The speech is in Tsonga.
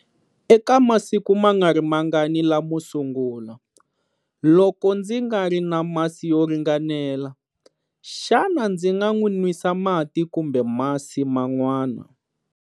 Eka masiku mangarimangani lamo sungula, loko ndzi nga ri na masi yo ringanela, xana ndzi nga n'wi nwisa mati kumbe masi man'wana?